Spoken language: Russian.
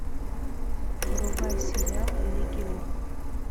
врубай сериал легион